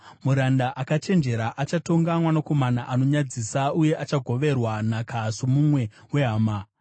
Muranda akachenjera achatonga mwanakomana anonyadzisa, uye achagoverwa nhaka somumwe wehama.